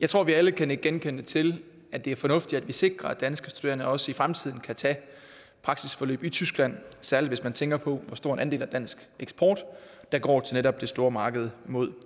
jeg tror at vi alle kan nikke genkendende til at det er fornuftigt at vi sikrer at danske studerende også i fremtiden kan tage praksisforløb i tyskland særlig hvis man tænker på hvor stor en andel af dansk eksport der går til netop det store marked mod